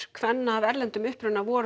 kvenna af erlendum uppruna voru